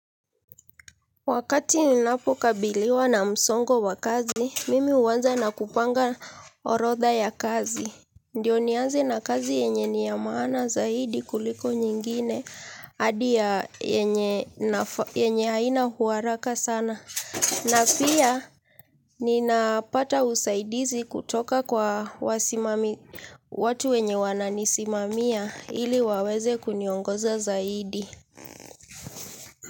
Wakati ninapokabiliwa na msongo wa kazi, mimi huanza na kupanga orodha ya kazi. Ndiyo nianze na kazi yenye ni ya maana zaidi kuliko nyingine, hadi yenye haina uharaka sana. Na pia, ninapata usaidizi kutoka kwa watu wenye wananisimamia ili waweze kuniongoza zaidi.